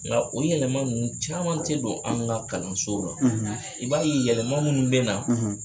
Nka o yɛlɛma ninnu caman tɛ don an ka kalanso la i b'a ye yɛlɛma minnu bɛ na